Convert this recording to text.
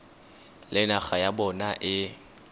le naga ya bona e